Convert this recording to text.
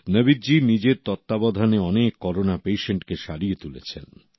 নবীদ জি নিজের তত্ত্বাবধানে অনেক করোনা পেশেন্টকে সারিয়ে তুলেছেন